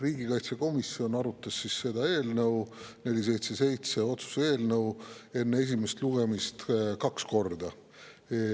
Riigikaitsekomisjon arutas otsuse eelnõu 477 enne esimest lugemist kaks korda.